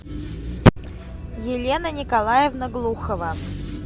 елена николаевна глухова